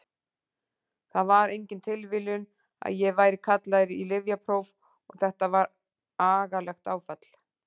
Það var engin tilviljun að ég væri kallaður í lyfjapróf og þetta var agalegt áfall.